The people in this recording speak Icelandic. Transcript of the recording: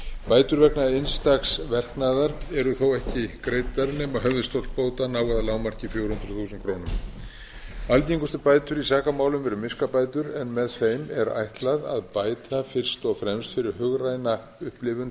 bætur vegna einstaks verknaðar eru þó ekki greiddar nema höfuðstóll bóta nái að lágmarki fjögur hundruð þúsund krónur algengustu bætur í sakamálum eru miskabætur en með þeim er ætlað að bæta fyrst og fremst fyrir hugræna upplifun tjónþola til skemmri